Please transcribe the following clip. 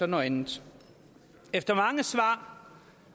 noget andet efter mange svar